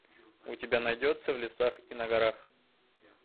у тебя найдется в лесах и на горах